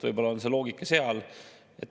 Võib-olla on see loogika seal.